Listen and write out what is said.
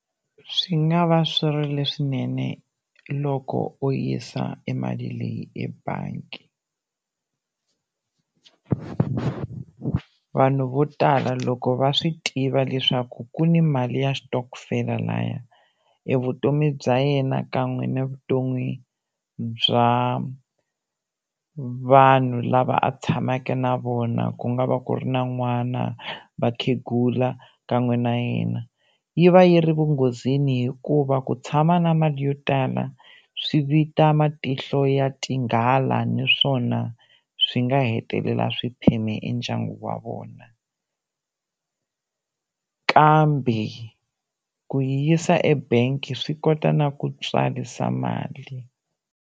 Swi nga va swi ri leswinene loko u yisa e mali leyi ebangi vanhu vo tala loko va swi tiva leswaku ku ni mali ya xitokofela laya e vutomi bya yena kan'we na vutomi bya vanhu lava a tshamaka na vona ku nga va ku ri na n'wana, vakhegula kan'we na yena yi va yi ri vunghozini hikuva ku tshama na mali yo tala swi vita matihlo ya tinghala naswona swi nga hetelela swi pheme e ndyangu wa vona kambe ku yi yisa ebangi swi kota na ku tswarisa mali.